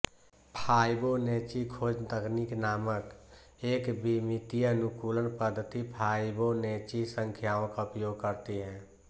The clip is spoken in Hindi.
फाइबोनैचि खोज तकनीक नामक एकविमितीय अनुकूलन पद्धति फाइबोनैचि संख्याओं का उपयोग करती है